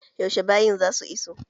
Yaushe bayin za su iso??